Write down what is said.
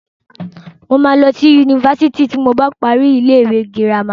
Mo máa lọ sí Yunifásitì ti mo bá parí ilé ìwé girama.